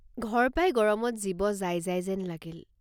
ঘৰ পাই গৰমত জীৱ যায় যায় যেন লাগিল।